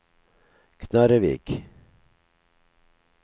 Knarrevik